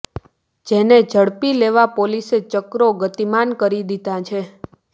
જેને ઝડપી લેવા પોલીસે ચક્રો ગતિમાન કરી દીધાં છે